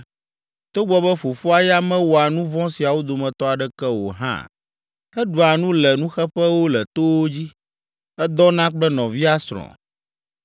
togbɔ be fofoa ya mewɔa nu vɔ̃ siawo dometɔ aɖeke o hã. Eɖua nu le nuxeƒewo le towo dzi, Edɔna kple nɔvia srɔ̃.